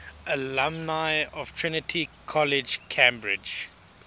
alumni of trinity college cambridge